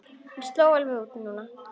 Mér sló alveg út núna.